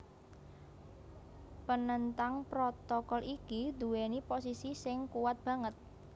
Penentang protokol iki nduwèni posisi sing kuwat banget